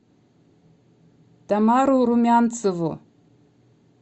тамару румянцеву